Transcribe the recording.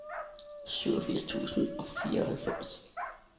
syvogfirs tusind og fireoghalvfems